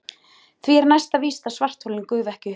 Því er næsta víst að svartholin gufa ekki upp í bráð.